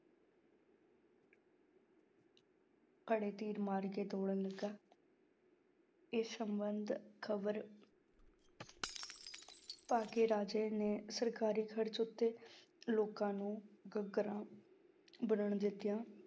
ਘੜੇ ਤੀਰ ਮਾਰ ਕੇ ਤੋੜਨ ਲੱਗਾ ਇਸ ਸੰਬੰਧ ਖ਼ਬਰ ਪਾ ਕੇ ਰਾਜੇ ਨੇ ਸਰਕਾਰੀ ਖ਼ਰਚ ਉੱਤੇ ਲੋਕਾਂ ਨੂੰ ਗਾਗਰਾਂ ਦਿੱਤੀਆਂ।